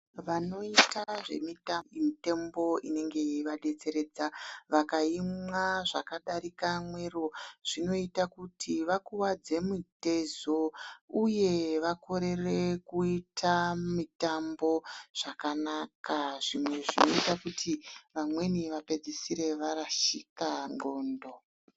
Vanoita zvemitambo, mitombo inenge yeivadetseredza vakaimwa zvakadarika mwero zvinoita kuti vakuwadze mutezo uye vakorere kuite mitambo zvakanaka zvimwe zvinoita kuti vamweni vapedzisire varashika ndxondo.